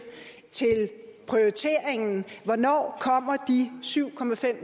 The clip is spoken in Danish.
prioriteringen hvornår kommer de syv